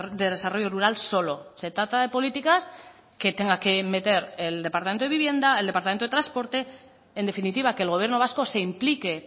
de desarrollo rural solo se trata de políticas que tenga que meter el departamento de vivienda el departamento de transporte en definitiva que el gobierno vasco se implique